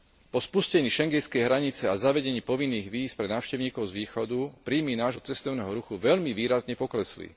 Po spustení schengenskej hranice a zavedení povinných víz pre návštevníkov z východu príjmy nášho cestovného ruchu veľmi výrazne poklesli.